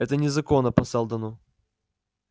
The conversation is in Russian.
это незаконно по сэлдону